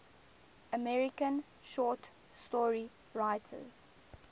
american short story writers